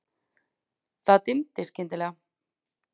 Það dimmdi skyndilega.